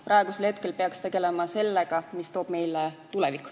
Praegu peaks tegelema sellega, mida toob meile tulevik.